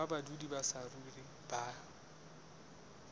ba badudi ba saruri ba